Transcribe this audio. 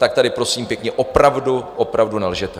Tak tady, prosím pěkně, opravdu, opravdu nelžete.